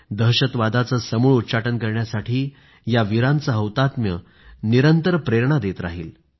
दहशतवादाचे समूळ उच्चाटन करण्यासाठी या वीरांचे हौतात्म्य निरंतर प्रेरणा देत राहील